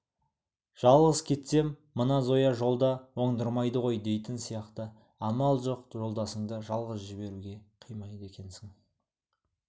жалғыз кетсем мына зоя жолда оңдырмайды ғой дейтін сияқты амал жоқ жолдасыңды жалғыз жіберуге қимайды екенсің